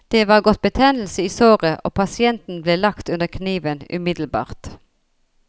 Det var gått betennelse i såret, og pasienten ble lagt under kniven umiddelbart.